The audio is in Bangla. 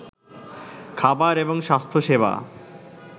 খাবার এবং স্বাস্থ্যসেবা